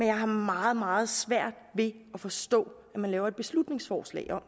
jeg har meget meget svært ved at forstå at man laver et beslutningsforslag om